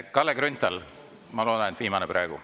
Kalle Grünthal, ma loodan, et viimane praegu.